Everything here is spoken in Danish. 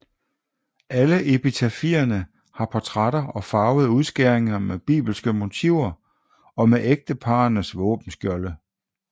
Alle epitafierne har portrætter og farvede udskæringer med bibelske motiver og med ægteparrenes våbenskjolde